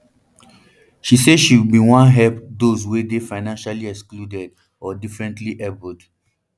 she say she bin wan help those wey dey financially excluded or differently abled